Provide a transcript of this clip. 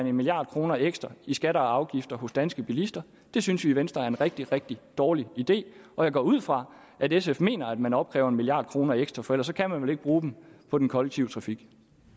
en milliard kroner ekstra i skatter og afgifter hos danske bilister det synes vi i venstre er en rigtig rigtig dårlig idé og jeg går ud fra at sf mener at man opkræver en milliard kroner ekstra for ellers kan man vel ikke bruge dem på den kollektive trafik